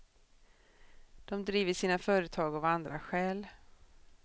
De driver sina företag av andra skäl.